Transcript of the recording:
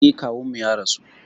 Eh, kawunmu ya rasu